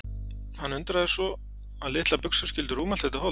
Hann undraðist að svo litlar buxur skyldu rúma allt þetta hold.